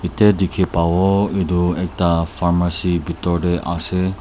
tai diki pavo etu ekta pharmacy bidor de ase.